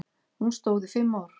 Hún stóð í fimm ár.